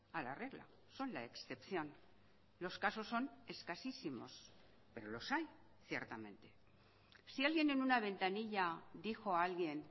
a la regla son la excepción los casos son escasísimos pero los hay ciertamente si alguien en una ventanilla dijo a alguien